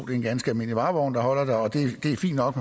er en ganske almindelig varevogn der holder der og det er fint nok